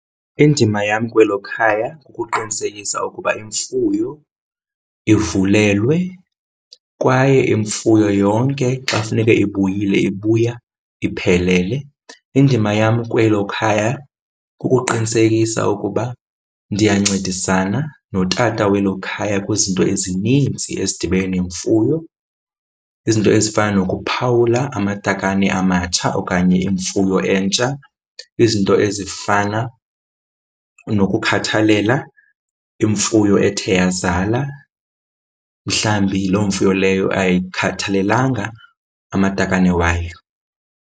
Indima yam kwelo khaya kukuqinisekisa ukuba imfuyo ivulelelwe kwaye imfuyo yonke xa funeke ibuyele ibuya iphelele. Indima yam kwelo khaya kukuqinisekisa ukuba ndiyancedisana notata welo khaya kwizinto ezininzi ezidibene nemfuyo. Izinto ezifana nokuphawula amatakane amatsha okanye imfuyo entsha. Izinto ezifana nokukhathalela imfuyo ethe yazala, mhlawumbi loo mfuyo leyo ayikhathalelanga amatakane wayo.